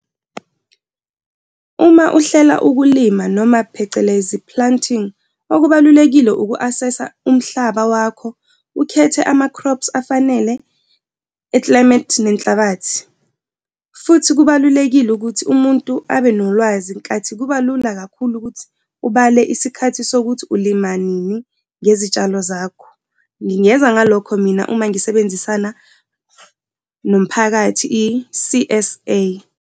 Uma uhlela ukulima noma phecelezi planting, okubalulekile uku-assess-a umhlaba wakho, ukhethe ama-crops afanele e-climate nenhlabathi. Futhi kubalulekile ukuthi umuntu abe nolwazi nkathi kuba lula kakhulu ukuthi ubale isikhathi sokuthi ulima nini le zitshalo zakho. Ngingeza ngalokho mina uma ngisebenzisana nomphakathi i-C_S_A.